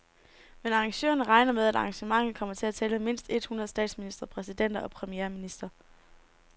Men arrangørerne regner med, at arrangementet kommer til at tælle mindst et hundrede statsministre, præsidenter og premierministre.